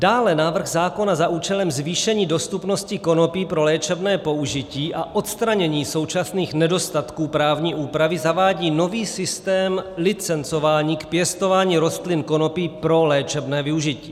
Dále návrh zákona za účelem zvýšení dostupnosti konopí pro léčebné použití a odstranění současných nedostatků právní úpravy zavádí nový systém licencování k pěstování rostlin konopí pro léčebné použití.